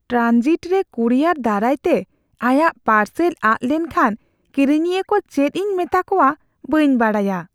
Transit ᱨᱮ courier ᱫᱟᱨᱟᱭᱛᱮ ᱟᱭᱟᱜ ᱯᱟᱨᱥᱮᱞ ᱟᱫ ᱞᱮᱱᱠᱷᱟᱱ ᱠᱤᱨᱤᱧᱤᱭᱟᱹ ᱠᱚ ᱪᱮᱫ ᱤᱧ ᱢᱮᱛᱟ ᱠᱚᱣᱟ ᱵᱟᱹᱧ ᱵᱟᱰᱟᱭᱟ ᱾